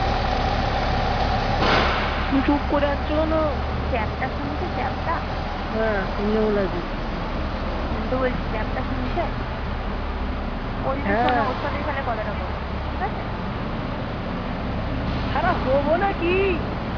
চুপ করে আছো কেন, চ্যাপ্টা শুনতে চাপটা, আমি তো বলচি, চ্যাপ্টা শুনছে, ওঈ দেখো না হেঁ কথাতা বলো নাকি